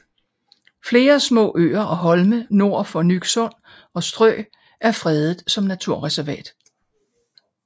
Flere små øer og holme nord for Nyksund og Stø er fredet som naturreservat